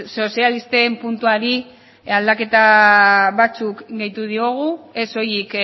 sozialisten puntuari aldaketa batzuk gehitu diogu ez soilik